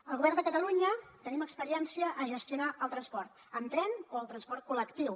el govern de catalunya tenim experiència a gestionar el transport en tren o el transport col·lectiu